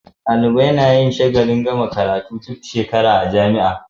Dalibai nayin shagalin gama makaranta duk shekara a jamia